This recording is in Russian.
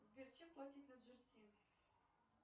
сбер чем платить на джерси